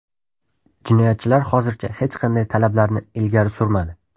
Jinoyatchilar hozircha hech qanday talablarni ilgari surmadi.